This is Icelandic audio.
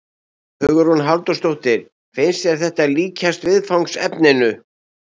Hugrún Halldórsdóttir: Finnst þér þetta líkjast viðfangsefninu?